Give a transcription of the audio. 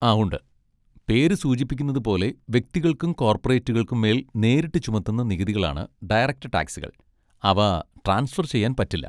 ആ ഉണ്ട്, പേര് സൂചിപ്പിക്കുന്നത് പോലെ വ്യക്തികൾക്കും കോർപറേറ്റുകൾക്കും മേൽ നേരിട്ട് ചുമത്തുന്ന നികുതികളാണ് ഡയറക്റ്റ് ടാക്സുകൾ, അവ ട്രാൻസ്ഫർ ചെയ്യാൻ പറ്റില്ല.